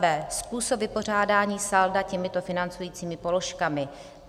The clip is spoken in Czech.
B. Způsob vypořádání salda těmito financujícími položkami: